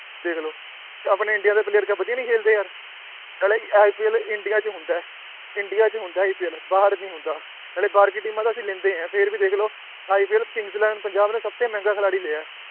ਦੇਖ ਲਓ ਆਪਣੇ ਇੰਡੀਆ ਦੇ player ਕਿਆ ਵਧੀਆ ਨੀ ਖੇਲਦੇ ਯਾਰ ਨਾਲੇ IPL ਇੰਡੀਆ 'ਚ ਹੁੰਦਾ ਹੈ ਇੰਡੀਆ 'ਚ ਹੁੰਦਾ ਹੈ IPL ਬਾਹਰ ਨੀ ਹੁੰਦਾ ਨਾਲੇ ਬਾਹਰ ਕੀ ਟੀਮਾਂ ਦਾ ਅਸੀਂ ਲੈਂਦੇ ਹਾਂ ਫਿਰ ਵੀ ਦੇਖ ਲਓ IPL ਕਿੰਗਸ ਇਲੈਵਨ ਪੰਜਾਬ ਨੇ ਸਭ ਤੋਂ ਮਹਿੰਗਾ ਖਿਲਾਡੀ ਲਿਆ ਹੈ